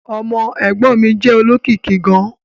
Ọmọ ẹ̀gbọ́n mi jẹ́ olókìkí gan-an